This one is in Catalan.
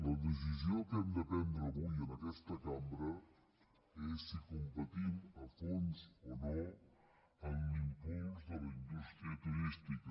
la decisió que hem de prendre avui en aquesta cambra és si competim a fons o no en l’impuls de la indústria turística